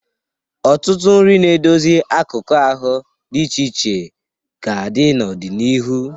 Ọtụtụ nri na-edozi akụkụ ahụ dị iche iche ga-adị n'ọdịnihu.